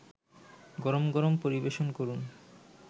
গরম গরম পরিবেশন করুন